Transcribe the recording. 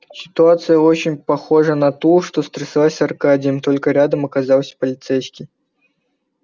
ситуация очень похожая на ту что стряслась с аркадием только рядом оказался полицейский